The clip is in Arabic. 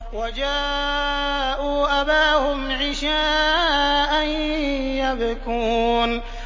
وَجَاءُوا أَبَاهُمْ عِشَاءً يَبْكُونَ